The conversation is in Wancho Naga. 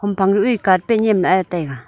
phang duh e carpet nyem lah ae taiga.